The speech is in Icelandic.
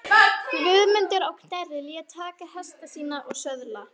Guðmundur á Knerri lét taka hesta sína og söðla.